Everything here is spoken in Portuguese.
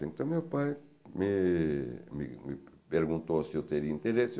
Então meu pai me me perguntou se eu teria interesse.